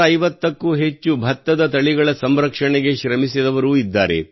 650ಕ್ಕೂ ಹೆಚ್ಚು ಭತ್ತದ ತಳಿಗಳ ಸಂರಕ್ಷಣೆಗೆ ಶ್ರಮಿಸಿದವರೂ ಇದ್ದಾರೆ